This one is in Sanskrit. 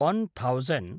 one thousand